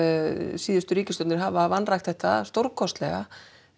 síðustu ríkisstjórnir hafa vanrækt þetta stórkostlega